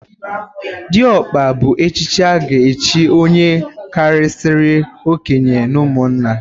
Dịọkpa bụ echichi a ga-echi onye karịsịrị okenye n'ụmụnna.